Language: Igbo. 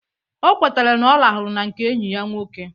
O kwetere na ọ rahụru na nke enyi ya nwoke